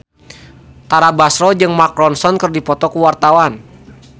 Tara Basro jeung Mark Ronson keur dipoto ku wartawan